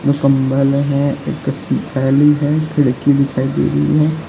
एक कंबल है एक थैली है खिड़की दिखाई दे रही है।